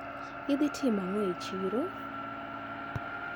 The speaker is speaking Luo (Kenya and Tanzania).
Idhi timo ang`o e chiro?